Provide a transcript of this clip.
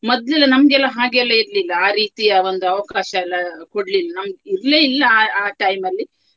ಮೊದ್ಲು ನಮ್ಗೆ ಎಲ್ಲಾ ಹಾಗೆ ಇರ್ಲಿಲ್ಲ ಆ ರೀತಿಯ ಒಂದು ಅವಕಾಶ ಎಲ್ಲಾ ಕೊಡ್ಲಿಲ್ಲ ನಮ್ಮ್ ಇರ್ಲೇ ಇಲ್ಲ ಆ ಆ time ಅಲ್ಲಿ.